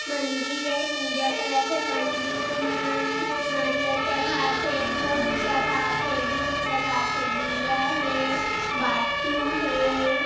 मंदिर हे पूजा करत हे पंडित मन नारियल चघात हे फूल चघात हे दूध चघात हे दीया हे बाती हे।